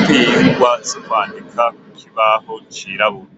twingwa zo kwandika kukibaho cirabura.